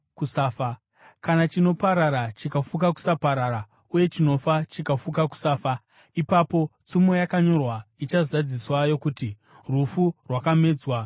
Kana chinoparara chikafuka kusaparara, uye chinofa chikafuka kusafa, ipapo tsumo yakanyorwa ichazadziswa yokuti: “Rufu rwakamedzwa nokukunda.”